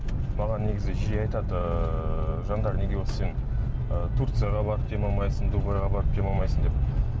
маған негізі жиі айтады ыыы жандар неге осы сен турцияға барып демалмайсың деп дубайға барып демалмайсың деп